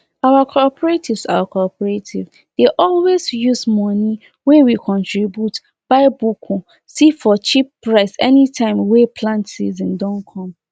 our senior dem arrange time wey animal go dey chop so fight no go happen for the place where animal dey stay